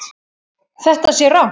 Þetta sé rangt.